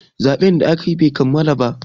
zaɓen da aka yi Bai kammala ba